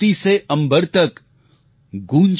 धरती से अम्बर तक